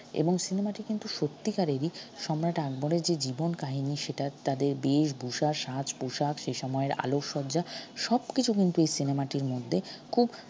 এবং cinema টি কিন্তু সত্যিকারেরই সম্রাট আকবরের যে জীবন কাহিনী সেটা তাদের বেষভূষা সাজ পোশাক সে সময়ের আলোকসজ্জা সবকিছু কিন্তু এই cinema টির মধ্যে খুব